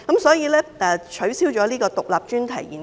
所以，其實我也支持取消獨立專題研究。